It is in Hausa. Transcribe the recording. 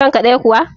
kanka ɗaya kuwa?